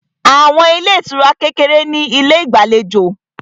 Àwọn ilé ìtura kékeré ní ilé ìgbàlejò